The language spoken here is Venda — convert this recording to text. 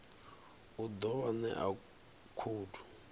u ḓo vha ṋea khoudu